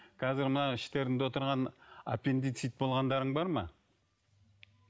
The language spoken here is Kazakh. қазір мына іштеріңде отырған аппендицит болғандарың бар ма